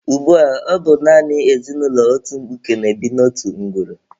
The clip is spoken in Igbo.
Ugbua, ọ bụ naanị ezinụlọ otu mkpuke na-ebi n'otu ngwuru.